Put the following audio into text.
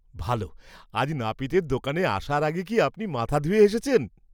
ভালো! আজ নাপিতের দোকানে আসার আগে কি আপনি মাথা ধুয়ে এসেছেন?